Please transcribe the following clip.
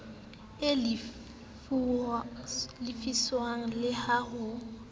e lefiswang le ha ho